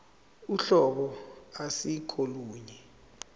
uhlobo ase kolunye